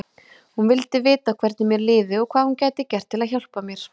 Hún vildi vita hvernig mér liði og hvað hún gæti gert til að hjálpa mér.